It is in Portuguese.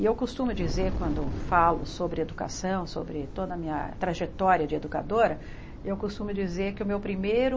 E eu costumo dizer, quando falo sobre educação, sobre toda a minha trajetória de educadora, eu costumo dizer que o meu primeiro...